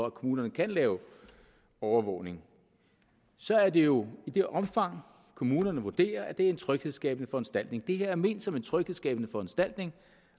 at kommunerne kan lave overvågning så er det jo i det omfang at kommunerne vurderer at det er en tryghedsskabende foranstaltning det her er ment som en tryghedsskabende foranstaltning